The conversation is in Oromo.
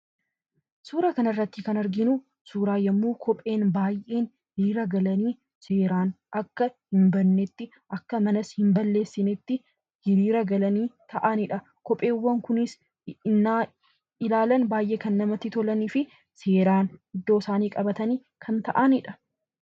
Suura kanarratti kan arginu suura yommuu kopheen baay'een hiriira galanii seeraan akka hin badnetti, akka manas hin balleessinetti hiriira galanii taa'anidha. Kopheewwan kunis hennaa ilaalan baay'ee kan namatti tolanii fi seeraan iddoo isaanii qabatanii kan ta'anidha.